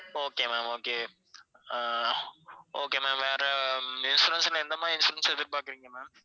okay ma'am, okay ah okay ma'am வேற insurance னா எந்த மாதிரி insurance எதிர்பாக்கறீங்க ma'am?